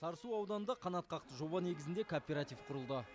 сарысу ауданында қанатқақты жоба негізінде кооператив құрылды